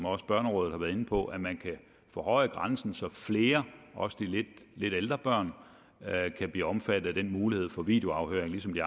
også børnerådet har været inde på at man kan forhøje grænsen så flere også de lidt ældre børn kan blive omfattet af muligheden for videoafhøring ligesom i